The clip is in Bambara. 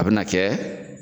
A bɛ na kɛ